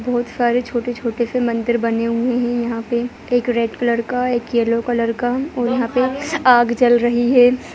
बहुत सारे छोटे-छोटे से मंदिर बने हुए हैं यहाँ पे एक रेड कलर का एक येलो कलर का और यहाँ पे आग जल रही है।